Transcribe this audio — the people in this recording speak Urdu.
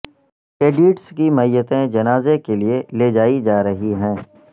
کیڈیٹس کی میتیں جنازے کے لیے لیجائی جا رہی ہیں